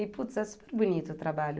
E, putz, é super bonito o trabalho.